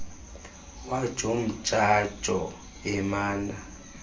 wajo mdjajo emana